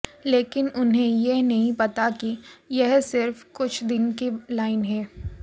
लेकिन उन्हें यह नहीं पता कि यह सिर्फ कुछ दिन की लाइन है